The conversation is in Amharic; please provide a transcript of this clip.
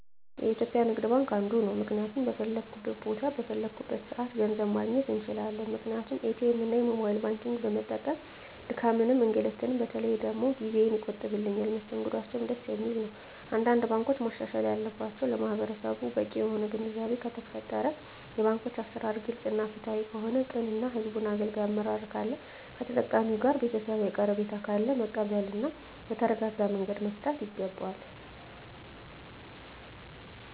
የኢትዩጲያ ንግድባንክ አንዱ ነዉ ምክንያቱም በፈለኩት ቦታ በፈለኩበት ሰአት ገንዘብ ማግኘት እንችላለን ምክንያቱም ኢትኤምእና የሞባይል ባንኪግን በመጠቀም ድካምንም እንግልትም በተለይ ደግሞ ጊዜየን ይቆጥብልኛል መስተንግዶአቸዉም ደስ የሚል ነዉ አንዳንድ ባንኮች ማሻሻል ያለባቸዉ ለማህበረሰቡ በቂ የሆነ ግንዛቤ ከተፈጠረ የባንኮች አሰራር ግልፅ እና ፍትሀዊ ከሆነ ቅን እና ህዝቡን አገልጋይ አመራር ካለ ከተጠቃሚዉ ጋር ቤተሰባዊ ቀረቤታ ካለ መቀበል እና በተረጋጋመንገድ መፍታት ይገባል